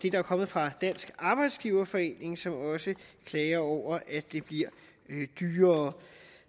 er kommet fra dansk arbejdsgiverforening som også klager over at det bliver dyrere